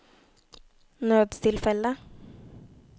nødstilfelle